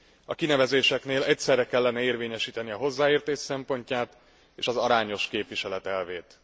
A kinevezéseknél egyszerre kellene érvényesíteni a hozzáértés szempontját és az arányos képviselet elvét.